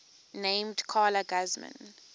named carla guzman